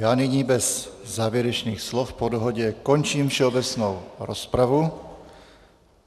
Já nyní bez závěrečných slov po dohodě končím všeobecnou rozpravu.